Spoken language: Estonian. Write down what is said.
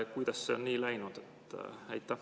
Kuidas on nii läinud?